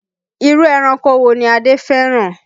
Irú ẹranko wo ni Adé fẹ́ràn?